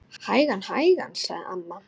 Hægan, hægan sagði amma.